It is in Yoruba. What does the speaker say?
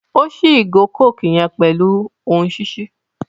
O ṣi igo coke yen pẹlu ohùn ṣiṣi